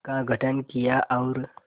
का गठन किया और